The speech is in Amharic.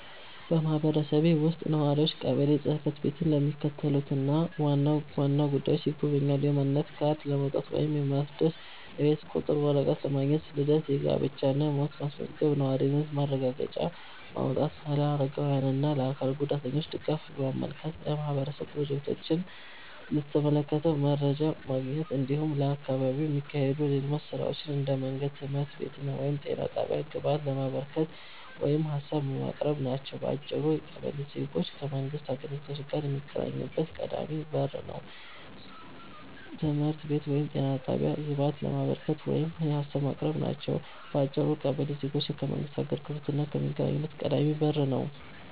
በማህበረሰቤ ውስጥ ነዋሪዎች ቀበሌ ጽ/ቤትን ለሚከተሉት ዋና ዋና ጉዳዮች ይጎበኛሉ፦ የማንነት ካርድ ለማውጣት ወይም ለማደስ፣ የቤት ቁጥር ወረቀት ማግኘት፣ ልደት፣ ጋብቻ እና ሞት ማስመዝገብ፣ የነዋሪነት ማረጋገጫ ማውጣት፣ ለአረጋውያን እና ለአካል ጉዳተኞች ድጋፍ ማመልከት፣ የማህበረሰብ ፕሮጀክቶችን በተመለከተ መረጃ ማግኘት፣ እንዲሁም በአካባቢው ለሚካሄዱ የልማት ሥራዎች (እንደ መንገድ፣ ትምህርት ቤት ወይም ጤና ጣቢያ) ግብአት ለማበርከት ወይም ሀሳብ ለማቅረብ ናቸው። በአጭሩ ቀበሌ ዜጎች ከመንግሥት አገልግሎት ጋር የሚገናኙበት ቀዳሚ በር ነው።